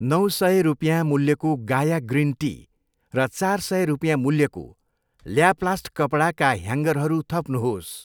नौ सय रुपियाँ मूल्यको गाया ग्रिन टी र चार सय रुपियाँ मूल्यको ल्याप्लास्ट कपडाका ह्याङ्गरहरू थप्नुहोस्।